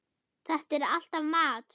Þetta er alltaf mat.